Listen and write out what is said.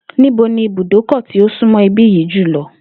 Níbo ni ibùdókò̩ tí ó súnmó̩ ibí yìí jù lo̩?